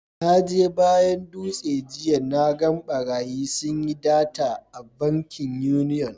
Na je bayan Dutse jiya, na gan barayi sun yi data a bankin union.